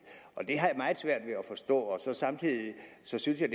og det har jeg meget svært ved at forstå samtidig synes jeg